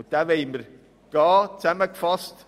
Diesen Weg wollen wir gehen.